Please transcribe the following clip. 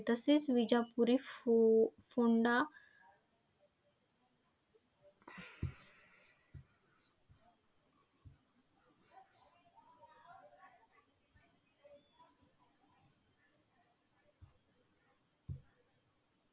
तसेच विजापुरी फोफोंडा